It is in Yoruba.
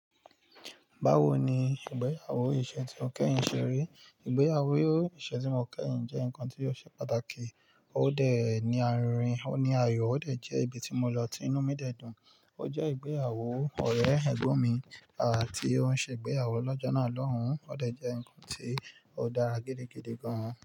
Báwo ni ìgbéyàwó ìṣe tí mó kẹ́yìn ṣe rí? Ìgbéyàwó ìṣe tí mó kẹ́yìn jẹ́ nǹkan tí ó ṣe pàtàkì, ó dé ní àrin, ó ní ayọ̀, ó dẹ̀ jẹ́ ibi tí mo lọ tí inú mi dẹ dùn. Ó jẹ́ ìgbéyàwó ọ̀rẹ́ ẹ̀gbọ́n mi àti ó ń ṣe ìgbéyàwó lọ́jọ́ náà lọ́hùn-ún. Ó dẹ̀ jẹ́ nǹkan tí ó dára gidigidi gan-an.